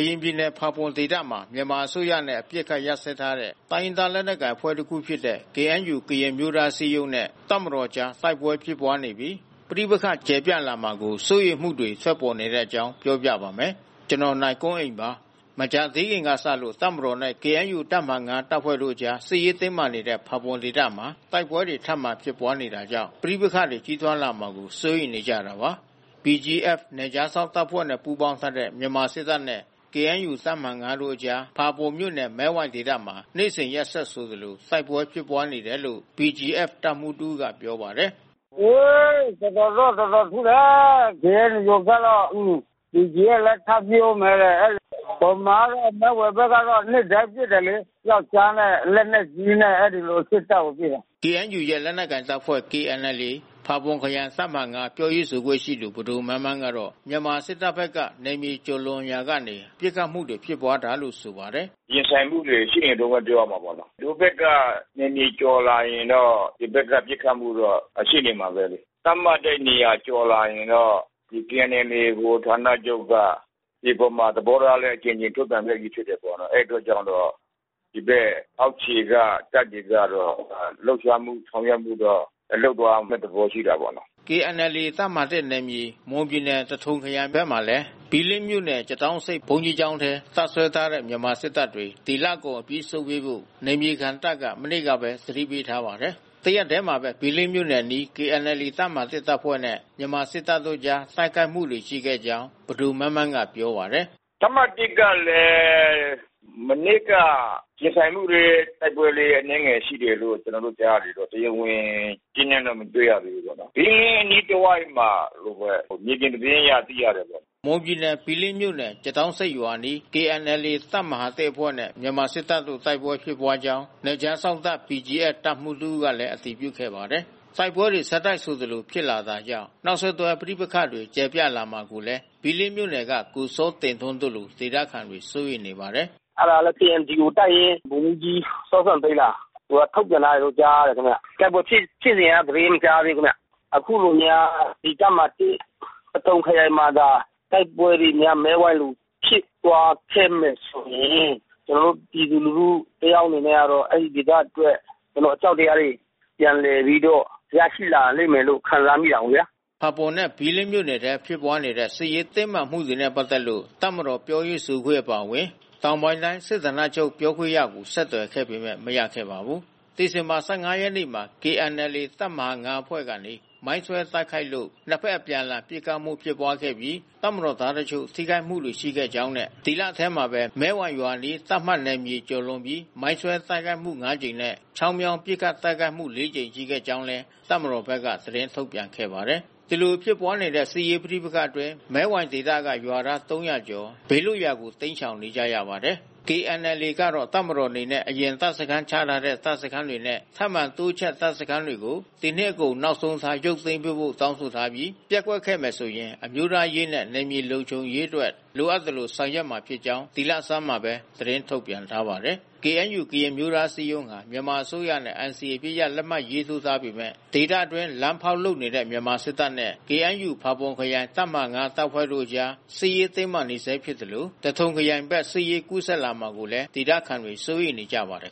ရင်ပြည်နယ် ဖာပွန်ဒေသမှာ မြန်မာအစိုးရနဲ့ အပစ်ခတ်ရပ်စဲထားတဲ့ တိုင်းရင်းသားလက်နက်ကိုင် အဖွ့ဲတခုဖြစ်တဲ့ KNU ကရင်အမျိုးသားအစည်းအရုံးနဲ့ တပ်မတော်ကြား တိုက်ပွဲဖြစ်ပွားနေပြီး၊ ပဋိပက္ခတွေ ကျယ်ပြန့်လာမှာကို စိုးရိမ်မှုတွေ ထွက်ပေါ်နေတဲ့အကြောင်း နိုင်ကွန်းအိန် ပြောပြပါမယ်။ မကြာသေးခင်ကစလို့ တပ်မတော်နဲ့ KNU တပ်မဟာ ၅ တပ်ဖွဲ့တို့ကြား စစ်ရေးတင်းမာနေတဲ့ ဖာပွန်ဒေသမှာ တိုက်ပွဲတွေ ထပ်မံဖြစ်ပွားနေတာကြောင့် ပဋိပက္ခတွေ ကြီးထွားလာမှာကို စိုးရိမ်နေကြတာပါ။ BGF နယ်ခြားစောင့် တပ်ဖွဲ့နဲ့ ပူးပေါင်း ထားတဲ့ မြန်မာစစ်တပ်နဲ့ KNUတပ်မဟာ(၅)တပ်ဖွဲ့တို့အကြား ဖာပွန်မြို့နယ် မဲဝိုင်ဒေသမှာ နေ့စဉ်ရက်ဆက်ဆိုသလို တိုက်ပွဲဖြစ်နေတယ်လို့လည်း BGF တပ်မှူးတဦး ကပြောပါတယ်။ “တော်တော်တော့ တော်တော်ပစ်တယ်။ KNU ဘက်တော့။ BGFလဲထပ်ပစ်ဦးမယ်တဲ့။ ဗမာကလဲ တပ်မတော် ဖက်ကတော့ နေ့တိုင်းပစ်တယ်လေ။ ပြောက်ကျားနဲ့ လက်နက်ကြီးနဲ့။ အဲဒီလိုစစ်တပ်ကို ပစ်တာ။” KNU ရဲ့ လက်နက်ကိုင်တပ်ဖွဲ့ KNLA ဖာပွန်ခရိုင် တပ်မဟာ(၅)ပြောရေးဆိုခွင့်ရှိသူ ပဒိုမန်းမန်းကတော့ မြန်မာစစ်တပ်ဖက် က နယ်မြေကျော်လွန်လာရာက ပစ်ခတ်မှုတွေ ဖြစ်ပွားတာလို့ ဆိုပါတယ်။ “ရင်ဆိုင်မှုတွေရှိနေတုန်းဘဲပြောရမှာပေါ့။ ဟိုဖက်ကနယ်မြေကျော်လာရင်တော့ ဒီဖက်ကပစ်ခတ်မှုတော့ ရှိနေ မှာဘဲ။ သတ်မှတ်တဲ့နေရာကျော်လာရင်တော့ KNLA ဗဟိုဌာနချုပ်က ဒီအပေါ်မှာသဘောထားလဲ အကြိမ်ကြိမ် ထုတ်ပြန်ခဲ့ပြီး ဖြစ်တယ်။ အဲဒီအတွက်ကြောင့် ဒီဘက်အောက်ခြေက တပ်တွေကတော့လှုပ်ရှားမှု ဆောင်ရွက်ဖို့ တော့ လုပ်သွားမယ့် သဘောရှိတာပေါ့နော်။” KNLA တပ်မဟာ ၁ နယ်မြေ မွန်ပြည်နယ် သထုံခရိုင်ဖက်မှာလဲ ဘီလင်းမြို့နယ် ကျသောင်းဆိပ်ရွာ ဘုန်းကြီး ကျောင်းထဲ တပ်စွဲထားတဲ့ မြန်မာစစ်တပ်တွေ ဒီလကုန်အပြီးဆုတ်ပေးဖို့ နယ်မြေခံတပ်က မနေ့ကပဲ သတိပေးထားပါတယ်။ တရက်တည်းမှာပဲ ဘီးလင်းမြို့နယ်အနီး KNLA တပ်မဟာ ၁ တပ်ဖွဲ့နဲ့ မြန်မာစစ်တပ်အကြား တိုက်ခိုက်မှုတွေ ရှိခဲ့ကြောင်း ပဒိုမန်းမန်းက ပြောပါတယ်။ “တပ်မဟာ(၁)ကလဲ မနေ့က ရင်ဆိုင်မှုလေး တိုက်ပွဲလေးအနည်းငယ်ရှိတယ်လို့ ကျွန်တော်တို့ကြားရတယ် ပေါ့။ တရားဝင်ကြေးနန်းတော့မတွေ့ရသေးဘူးပေါ့။ ဘီးလင်းအနီးတဝိုက်မှာလို့ဘဲ မြေပြင်သတင်းအရ သိရ တာပေါ့။” မွန်ပြည်နယ်ဘီလင်းမြို့နယ် ကျသောင်းဆိပ်ရွာအနီး KNLA တပ်မဟာ ၁အဖွဲ့နဲ့ မြန်မာစစ်တပ်တို့ တိုက်ပွဲဖြစ် ပွါးခဲ့ကြောင်း နယ်ခြားစောင့်တပ်BGFတပ်မှူးတဦးကလည်း အတည်ပြုခဲ့ပါတယ်။ တိုက်ပွဲတွေ ဆက်တိုက်ဆိုသလို ဖြစ်လာတာကြောင့် နောက်ဆက်တွဲ ပဋိပက္ခတွေ ကျယ်ပြန့်လာမှာကိုလည်း ဘီးလင်းမြို့နယ်က ကိုစောတင်ထွန်း တို့လို ဒေသခံတွေ စိုးရိမ်နေပါတယ်။ “အဲတာလဲ KNDO တပ်ရင်း ဗိုလ်မှူးကြီးစောစံသိန်းလား သူကထုတ်ပြန်ထားတယ်လို့ကြားရတယ်ခင်ဗျ။ တိုက်ပွဲ ဖြစ်စဉ်က သတင်းမကြားသေးဘူးခင်ဗျ။ အခုလိုများ ဒီတပ်မဟာ(၁) သထုံခရိုင်မှာသာ တိုက်ပွဲတွေများ မဲဝိုင်မှာလို ဖြစ်သွားခဲ့မယ်ဆိုရင် ကျွန်တော်တို့ပြည်သူလူထုတယောက်အနေနဲ့တော့ အဲဒီဒေသအတွက် ကျွန်တော်တို့အကြောက် တရားတွေ ပြန်လည်ပြီးတော့ ရရှိလာလိမ့်မယ်လို့ခံစားမိတယ်ပေါ့ဗျာ။” ဖာပွန်နဲ့ဘီးလင်းမြို့နယ်ထဲဖြစ်ပွါးနေတဲ့ စစ်ရေးတင်းမာမှုတွေနဲ့ပက်သက်လို့ တပ်မတော်ပြောရေးဆိုခွင့်အပါဝင် တောင်ပိုင်းတိုင်း စစ်ဌာနချုပ်ပြောခွင့်ရကို ဆက်သွယ်ခဲ့ပေမယ့် မရခဲ့ပါဘူး။ ဒီဇင်ဘာ(၁၅)ရက်နေ့မှာ KNLA တပ်မဟာ(၅)အဖွဲ့ကနေ မိုင်းဆွဲ တိုက်ခိုက်လို့ နှစ်ဖက်အပြန်အလှန် ပစ်ခတ်မှု ဖြစ်ပွားခဲ့ပြီး တပ်မတော်သားတချို့ ထိခိုက်မှုတွေရှိခဲ့ကြောင်းနဲ့ ဒီလထဲမှာပဲ မဲဝိုင်ရွာအနီး သတ်မှတ်နယ်မြေ ကျော်လွန်ပြီးမိုင်းဆွဲ တိုက်ခိုက်မှု ၅ ကြိမ်နဲ့ ချောင်းမြောင်းပစ်ခတ်တိုက်ခိုက်မှု ၄ ကြိမ် ရှိခဲ့ကြောင်း တပ်မတော်က သတင်းထုတ်ပြန်ခဲ့ပါတယ်။ ဒီလိုဖြစ်ပွားတဲ့စစ်ရေးပဋိပက္ခအတွင်းမဲဝိုင်ဒေသကရွာသား(၃၀၀)ကျော် ဘေးလွတ်ရာကိုတိမ်းရှောင်နေကြရ ပါ တယ်။ KNLA ကတော့ တပ်မတော်အနေနဲ့ အရင်တပ်စခန်း ချထားတဲ့ တပ်စခန်းတွေနဲ့ ထပ်မံတိုးချဲ့တပ်စခန်းတွေကို ဒီနှစ်ကုန် နောက်ဆုံးထား ရုပ်သိမ်းပေးဖို့ တောင်းဆိုထားပြီး၊ ပျက်ကွက်ခဲ့မယ်ဆိုရင် အမျိုးသားရေးနဲ့ နယ်မြေ လုံခြုံရေး အတွက် လိုအပ်သလို ဆောင်ရွက်မှာဖြစ်ကြောင်း ဒီလဆန်းမှာပဲ သတင်းထုတ်ပြန်ထားပါတယ်။ KNU-ကရင်အမျိုးသားအစည်းအရုံးဟာ မြန်မာအစိုးရနဲ့ NCAအပစ်ရပ်လက်မှတ်ရေးထိုးထားပေမဲ့ ဒေသအတွင်း လမ်းဖောက်လုပ်နေတဲ့မြန်မာစစ်တပ်နဲ့ KNU ဖါပွန်ခရိုင် တပ်မဟာ(၅) တပ်ဖွဲ့တို့ကြား စစ်ရေးတင်းမာနေဆဲ ဖြစ်သလို သထုံခရိုင်ဘက် စစ်ရေးကူးစက်လာမှာကိုလဲဒေသခံတွေစိုးရိမ်နေကြ ပါတယ်